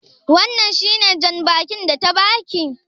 Wannan shi ne jan bakin da ta ba ki?